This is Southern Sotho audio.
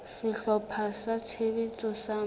sehlopha sa tshebetso sa moralo